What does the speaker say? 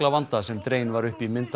vanda sem dregin var upp mynd